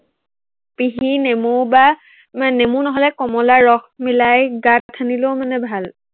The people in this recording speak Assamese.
পিহি নেমু বা নেমু নহলে কমলাৰ ৰস মিলাই গাত সানিলেও মানে ভাল।